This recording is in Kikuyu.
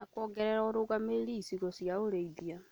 na kuongerera ũrũgamĩrĩri icigo cia ũrĩithia.